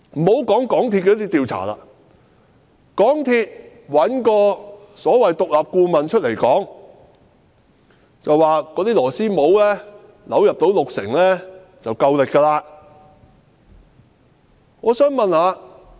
且不說港鐵公司的調查，港鐵公司找所謂獨立顧問出來表示，螺絲帽扭入六成已有足夠荷載力。